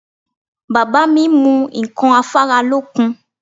Bàbá mi mu ǹkan afáralókun